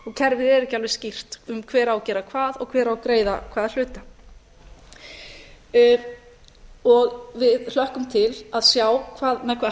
kerfið er ekki alveg skýrt um hver á að gera hvað og hver á að greiða hvaða hluta við hlökkum til að sjá með hvaða